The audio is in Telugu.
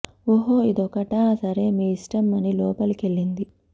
ఓహో ఇదొకటా సరే మీఇష్టం అని లోపలికెళ్ళింది